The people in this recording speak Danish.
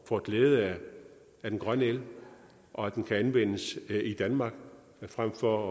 får glæde af den grønne el og at den kan anvendes i danmark frem for